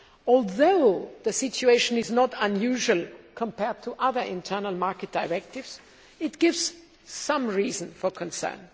Although the situation is not unusual compared to other internal market directives, it gives some reason for concern.